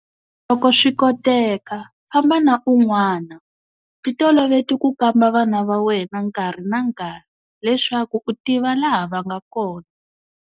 Loko swi koteka, famba na un'wana. Ti toloveti ku kamba vana va wena nkarhi na nkarhi, leswaku u tiva laha va nga kona.